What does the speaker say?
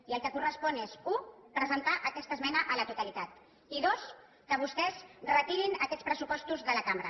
i el que correspon és u presentar aquesta esmena a la totalitat i dos que vostès retirin aquests pressupostos de la cambra